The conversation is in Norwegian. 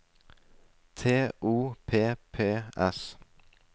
T O P P S